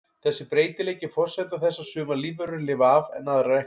Þessi breytileiki er forsenda þess að sumar lífverur lifa af en aðrar ekki.